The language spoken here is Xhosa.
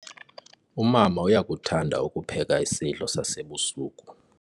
Umama uyakuthanda ukupheka isidlo sasebusuku.